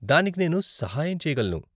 దానికి నేను సహాయం చెయ్యగలను.